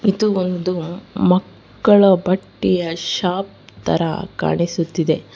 ಇದು ಒಂದು ಮಕ್ಕಳ ಬಟ್ಟೆಯ ಶಾಪ್ ತರ ಕಾಣಿಸುತ್ತಿದೆ.